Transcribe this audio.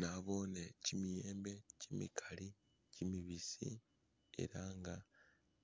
Nabone chimiyembe chimikali chimibisi ela nga